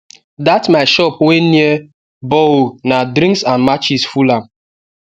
that my shop wey near borehole na drinks and matches full am